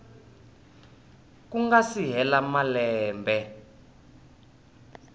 ku nga si hela malembe